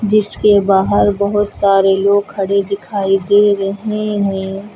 जिसके बाहर बहुत सारे लोग खड़े दिखाई दे रहे हैं।